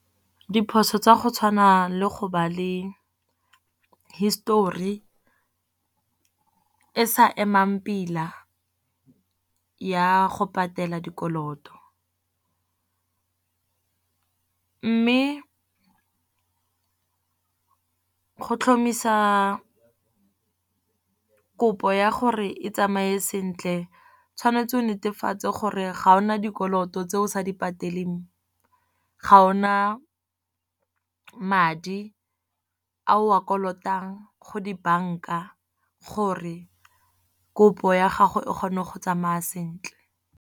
Diphoso tsa go tshwana le go ba le histori e sa emang pila ya go patela dikoloto. Mme go tlhomisa kopo ya gore e tsamaye sentle tshwanetse o netefatse gore ga o na dikoloto tse o sa di pateleng. Ga o na madi a o a kolotang go di-bank-a gore kopo ya gago e kgone go tsamaya sentle.